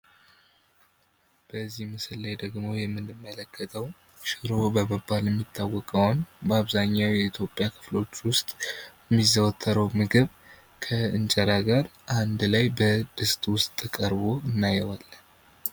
በዚህ ምስል ላይ ደግሞ የምንመለከተው ሽሮ በመባል የሚታወቀውን በአብዛኛው በኢትዮጵያ ሰዎች ውስጥ የሚዘወተረው ከእንጀራ ጋ በድስት ውስጥ ቀርቦ እናየዋለን።